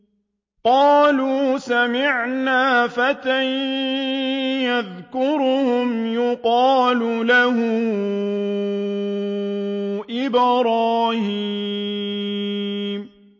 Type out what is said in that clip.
قَالُوا سَمِعْنَا فَتًى يَذْكُرُهُمْ يُقَالُ لَهُ إِبْرَاهِيمُ